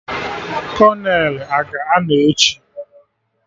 Kolonel a ga-anọ echi?